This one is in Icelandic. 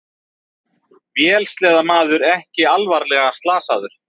Vélsleðamaður ekki alvarlega slasaður